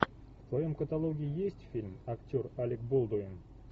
в твоем каталоге есть фильм актер алек болдуин